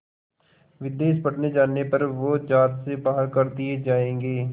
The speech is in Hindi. विदेश पढ़ने जाने पर वो ज़ात से बाहर कर दिए जाएंगे